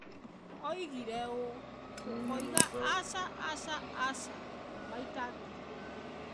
Oigire ũũ: "Tũkoiga, 'Aca, aca, aca,' maita ngiri ĩmwe".